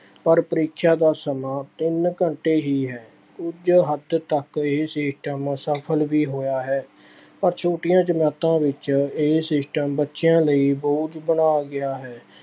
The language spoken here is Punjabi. ਪਰ ਪ੍ਰੀਖਿਆ ਦਾ ਸਮਾਂ ਤਿੰਨ ਘੰਟੇ ਹੀ ਹੈ। ਕੁੱਝ ਹੱਦ ਤੱਕ ਇਹ system ਸਫਲ ਵੀ ਹੋਇਆ ਹੈ। ਪਰ ਛੋਟੀਆਂ ਜਮਾਤਾਂ ਵਿੱਚ ਇਹ system ਬੱਚਿਆਂ ਲਈ ਬੋਝ ਬਣਾ ਗਿਆ ਹੈ।